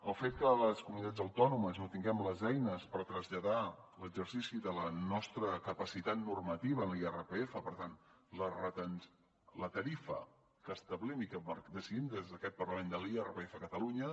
el fet que les comunitats autònomes no tinguem les eines per traslladar l’exercici de la nostra capacitat normativa en l’irpf per tant la tarifa que establim i que de cidim des d’aquest parlament de l’irpf a catalunya